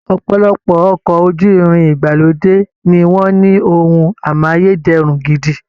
Ọ̀pọ̀lọpọ̀ ọkọ̀ ojú-irin ìgbàlódé ni wọ́n ní ohun amáyé dẹrùn gidi